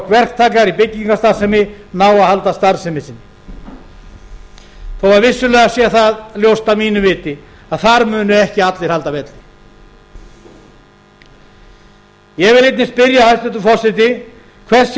verktakar í byggingarstarfsemi ná að halda starfsemi sinni þó að vissulega sé það ljóst að mínu viti að þar muni ekki allir halda velli ég vil einnig spyrja hæstvirtur forseti hvers sé